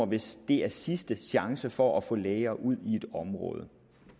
hvis det er sidste chance for at få læger ud i et område